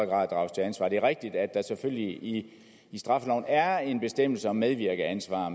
grad drages til ansvar det er rigtigt at der selvfølgelig i straffeloven er en bestemmelse om medvirkeansvar og